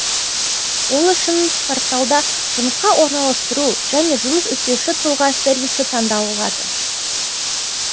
ол үшін порталда жұмысқа орналастыру және жұмыс іздеуші тұлға сервисі таңдалынады